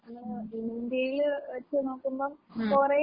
ഉം ഉം.